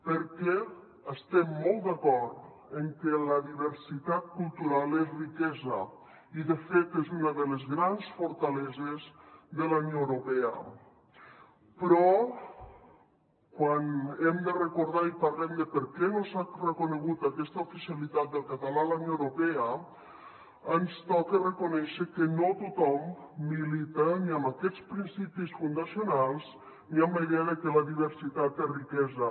perquè estem molt d’acord en que la diversitat cultural és riquesa i de fet és una de les grans fortaleses de la unió europea però quan hem de recordar i parlem de per què no s’ha reconegut aquesta oficialitat del català a la unió europea ens toca reconèixer que no tothom milita ni amb aquests principis fundacionals ni amb la idea de que la diversitat és riquesa